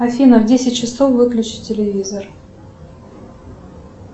афина в десять часов выключи телевизор